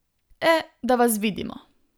E, da vas vidimo!